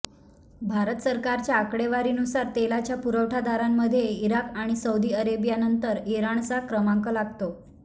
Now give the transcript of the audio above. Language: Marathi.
भारत सरकारच्या आकडेवारीनुसार तेलाच्या पुरवठादारांमध्ये इराक आणि सौदी अरेबियानंतर इराणचा क्रमांक लागतो